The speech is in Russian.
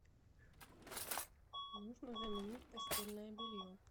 нужно заменить постельное белье